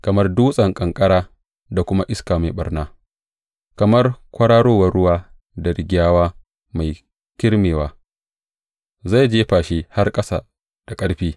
Kamar dutsen ƙanƙara da kuma iska mai ɓarna, kamar kwararowar ruwa da rigyawa mai kirmewa, zai jefa shi har ƙasa da ƙarfi.